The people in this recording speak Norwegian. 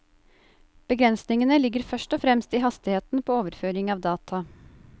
Begrensningene ligger først og fremst i hastigheten på overføring av data.